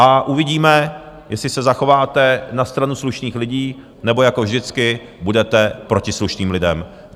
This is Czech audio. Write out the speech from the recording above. A uvidíme, jestli se zachováte na stranu slušných lidí, nebo jako vždycky budete proti slušným lidem.